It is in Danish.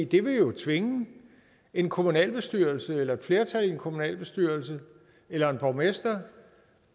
det vil jo tvinge en kommunalbestyrelse eller et flertal i en kommunalbestyrelse eller en borgmester